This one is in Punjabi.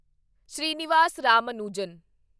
ਸ੍ਰੀਨਿਵਾਸ ਰਾਮਾਨੁਜਨ